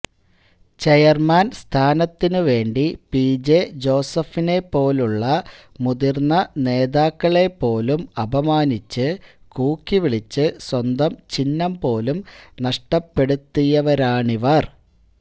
chairman സ്ഥാനത്തിന് വേണ്ടി P J ജോസഫിനെപ്പോലുള്ള മുതിര്ന്ന നേതാക്കളെപ്പോലും അപമാനിച്ച് കൂക്കി വിളിച്ച് സ്വന്തം ചിഹ്നം പോലും നഷ്ടപ്പെടുത്തിയവരാണിവര്